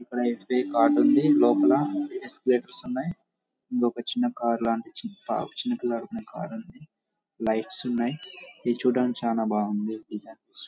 ఇక్కడ S. B .I card ఉంది లోపల ఉన్నాయి ఇల్లా ఒక చిన్న కార్ లాంటిది చిన్న పిల్లలు ఆడుకునే కార్ ఉంది లైట్లు ఉన్నాయి ఇది చూడడానికి చాలా బాగుంది డిజైన్స్ .